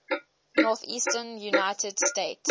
northeastern united states